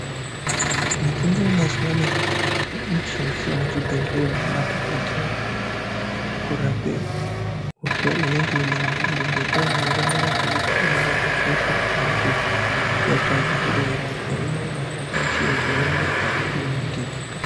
Mitombo yemazuwa ano iri kushandiswa muzvibhendlera ngemadhokodheya kurapa hosha inenge ine vantu zviro kwazvo yakanaka kuti inorapa hosha inenge yataurwa zvinorapwa inobaarapa chiro cheinenge yatumwa kuti rapa.